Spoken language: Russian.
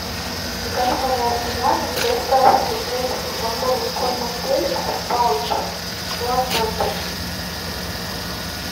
закажи пожалуйста на дом доставку десять упаковок корма феликс в паучах с лососем